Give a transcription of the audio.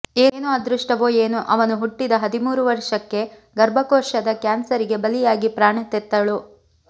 ಏನು ಅದೃಷ್ಟವೋ ಏನೋ ಅವನು ಹುಟ್ಟಿದ ಹದಿಮೂರು ವರ್ಷಕ್ಕೆ ಗರ್ಭಕೋಶದ ಕ್ಯಾನ್ಸರಿಗೆ ಬಲಿಯಾಗಿ ಪ್ರಾಣ ತೆತ್ತಳು